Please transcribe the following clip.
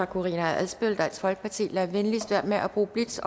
karina adsbøl dansk folkeparti lad venligst være med at bruge blitz